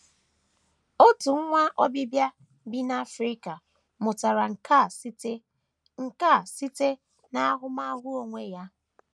Otu nwa Obibịa bi n’Africa mụtara nke a site nke a site n’ahụmahụ onwe onye.